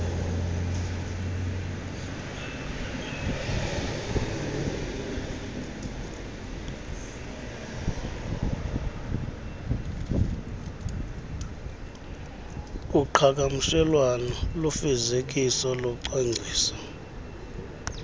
kuqhagamshelwano kufezekiso locwangciso